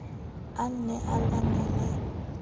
a ne a lwanne le